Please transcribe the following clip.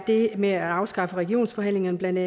det med at afskaffe regionsforhandlingerne